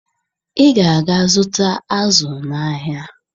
Ị ga-aga zụta azụ n'ahịa!